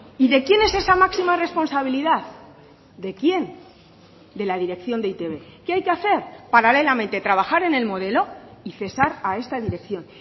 y de quién es esa máxima responsabilidad de quién de la dirección de e i te be qué hay que hacer paralelamente trabajar en el modelo y cesar a esta dirección